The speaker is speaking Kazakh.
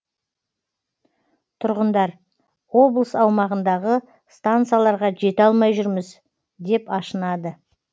тұрғындар облыс аумағындағы стансаларға жете алмай жүрміз деп ашынады